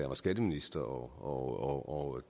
var skatteminister og